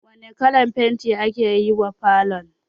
Wane kalan fenti aka yi wa falon?